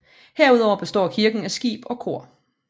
Herudover består kirken af skib og kor